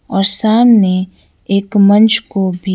और सामने एक मंच को भी--